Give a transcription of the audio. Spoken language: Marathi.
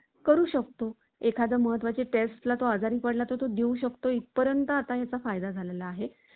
असं म्हणणं या टप्प्यावर धाडसी ठरेल. ते अजून Search Engine आणि BOT या प्रमा~ प्रमाणमध्ये उपलब्ध आहे.